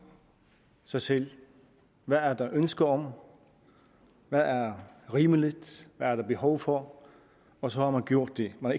sig selv hvad der er ønske om hvad der er rimeligt hvad der er behov for og så har man gjort det man